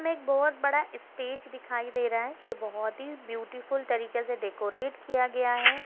में एक बहुत बड़ा स्टेज दिखाइ दे रहा है यह बहुत ही ब्युटीफुल तरीके से डेकोरेट किया गया है।